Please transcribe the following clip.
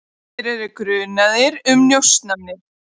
Þeir eru grunaðir um njósnir.